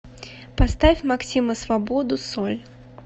поставь максима свободу соль